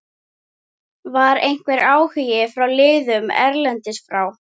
Var einhver áhugi frá liðum erlendis frá?